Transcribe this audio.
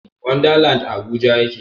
Wanda land a habuja yake